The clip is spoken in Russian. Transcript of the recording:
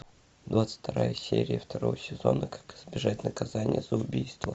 двадцать вторая серия второго сезона как избежать наказания за убийство